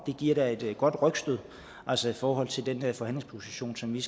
giver da et godt rygstød altså i forhold til den forhandlingsposition som vi